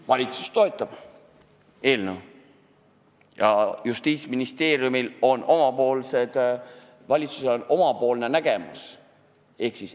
Valitsus toetab eelnõu, aga Justiitsministeeriumil on oma, valitsusel oma nägemus.